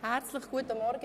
Herzlich guten Morgen.